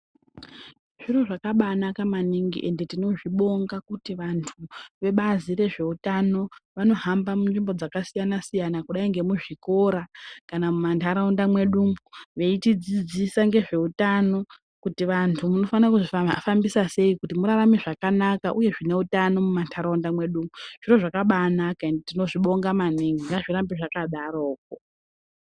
Zviro zvakanaka maningi ende tinozvibonga kuti vantu vebazi rezvehutano vanohamba munzvimbo dzakasiyana siyana kudai nemuzvikora kana mumandaraunda mwedumo veitidzidzisa nezvehutano kuti vantu unofana kuzvihambisa sei kuti murarama zvakanaka uye zvine hutano mumandaraunda edu zviro zvakabanaka ende tinozvibonga maningi ngazvirambe zvakadaro.